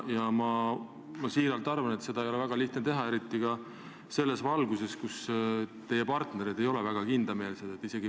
Ma tõesti arvan, et seda ei ole väga lihtne teha, eriti ka seetõttu, et teie partnerid ei ole eriti kindlameelsed.